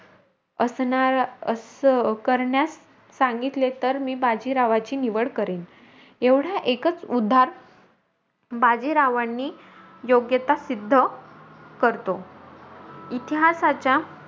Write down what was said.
असणं असं करण्यास सांगितले, तर मी बाजीरावाची निवड करेल. एव्हडं एकच उधा बाजीरावांनी योग्यता सिद्ध करतो. इतिहासाच्या,